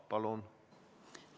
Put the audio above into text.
Palun!